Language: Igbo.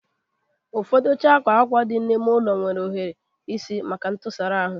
Ụfọdụ oche akwa akwa n'ime ụlọ nwere ohiri isi maka ntụsara ahụ